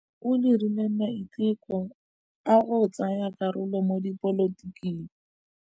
O dirile maitekô a go tsaya karolo mo dipolotiking.